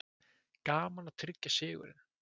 Gaman að tryggja sigurinn